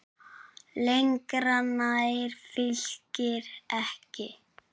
Lengra nær Fylkir ekki.